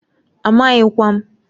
Amaghịkwa m.